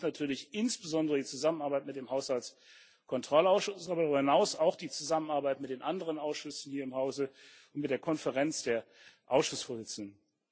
Das betrifft natürlich insbesondere die Zusammenarbeit mit dem Haushaltskontrollausschuss, aber darüber hinaus auch die Zusammenarbeit mit den anderen Ausschüssen hier im Hause und mit der Konferenz der Ausschussvorsitzenden.